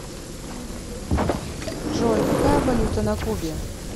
джой какая валюта на кубе